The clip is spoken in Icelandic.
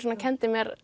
kenndi mér